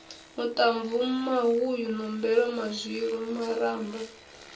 maṱamvu mahuyu nombelo mazwilu maramba